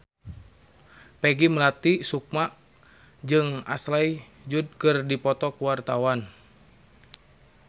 Peggy Melati Sukma jeung Ashley Judd keur dipoto ku wartawan